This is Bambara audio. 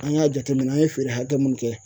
An y'a jateminɛ an ye feere hakɛ mun kɛ